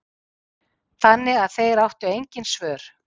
Þannig að þeir áttu engin svör.